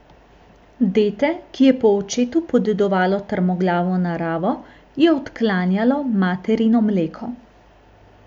Dete, ki je po očetu podedovalo trmoglavo naravo, je odklanjalo materino mleko.